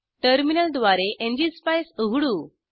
टर्मिनलद्वारे ngspice उघडू